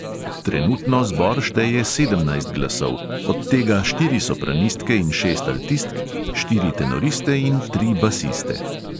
Trenutno zbor šteje sedemnajst glasov, od tega štiri sopranistke in šest altistk, štiri tenoriste in tri basiste.